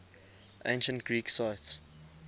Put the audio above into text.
ancient greek sites